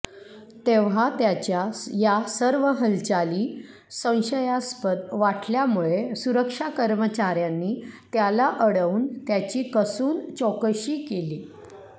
तेव्हा त्याच्या या सर्व हलचाली संशयास्पदवाटल्यामुळे सुरक्षा कर्मचाऱ्यांनी त्याला अडवून त्याची कसून चौकशी केली